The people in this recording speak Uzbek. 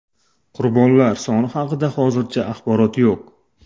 Qurbonlar soni haqida hozircha axborot yo‘q.